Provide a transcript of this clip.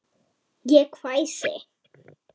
Ég hvæsi.